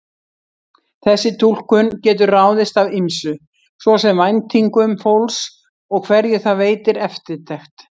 Þessi túlkun getur ráðist af ýmsu, svo sem væntingum fólks og hverju það veitir eftirtekt.